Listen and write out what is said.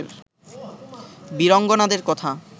বীরাঙ্গনাদের কথা